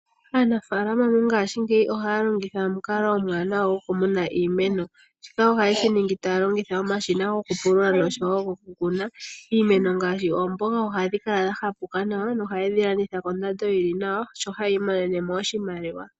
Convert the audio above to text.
Aanafalama mongaashingeyi ohaya longitha omukalo omuwanawa gokumeneka iimeno shika oha ye shi ningi taya longitha omashina gokupulula noshowo gokukuna. Iimeno ngaashi oomboga ohadhi kala dha ziza nawa noha ye dhi landitha kondando yili nawa noha yi imonene mo oshimaliwa.